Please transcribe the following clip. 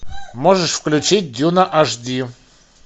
можешь включить дюна аш ди